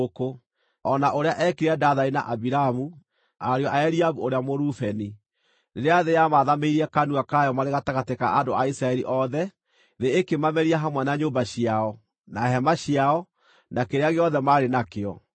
o na ũrĩa eekire Dathani na Abiramu, ariũ a Eliabu ũrĩa Mũrubeni, rĩrĩa thĩ yamaathamĩirie kanua kayo marĩ gatagatĩ ka andũ a Isiraeli othe, thĩ ĩkĩmameria hamwe na nyũmba ciao, na hema ciao, na kĩrĩa gĩothe maarĩ nakĩo.